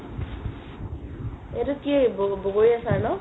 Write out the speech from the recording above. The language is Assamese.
এইটো কি বগৰ বগৰীৰ আচাৰ ন